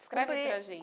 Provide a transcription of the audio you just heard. Descreve para gente.